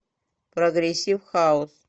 прогрессив хаус